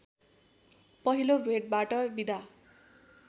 पहिलो भेटबाट बिदा